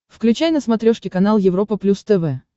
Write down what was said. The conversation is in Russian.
включай на смотрешке канал европа плюс тв